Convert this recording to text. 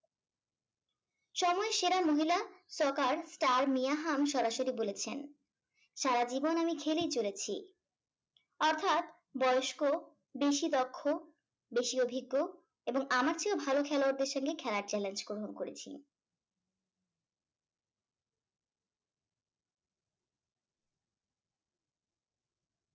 stocker star মিয়াহাম সরাসরি বলেছেন সারা জীবন আমি খেলেই চলেছি অর্থাৎ বয়স্ক বেশি দক্ষ বেশি অভিজ্ঞ এবং আমার চেয়েও ভালো খেলোয়াড় দেড় সঙ্গে খেলার challenge গ্রহণ করেছি